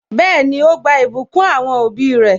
Bẹẹni, ó gba ìbùkún àwọn òbí re